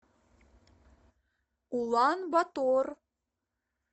улан батор